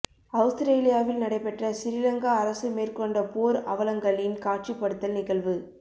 அவுஸ்திரேலியாவில் நடைபெற்ற சிறிலங்கா அரசு மேற்கொண்ட போர் அவலங்களின் காட்சிப்படுத்தல் நிகழ்வு